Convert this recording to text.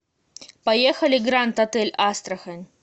поехали гранд отель астрахань